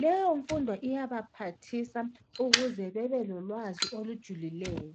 leyomfundo iyabaphathisa ukuze bebelolwazi olujulileyo.